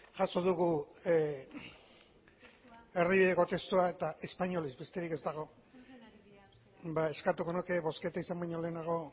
jaso dugu erdibideko testua eta espainolez besterik ez dago eskatuko nuke bozketa izan baino lehenago